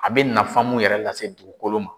A bɛ nafan mun yɛrɛ lase dugukolo ma.